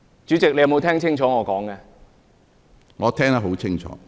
主席，你有否聽清楚我的發言？